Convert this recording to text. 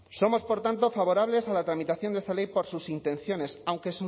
somos por tanto favorables a la tramitación de esta ley por sus intenciones aunque